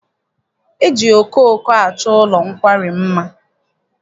E ji okooko achọ ụlọ nkwari mma.